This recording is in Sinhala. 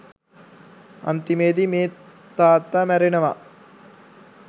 අන්තිමේදී මේ තාත්තා මැරෙනවා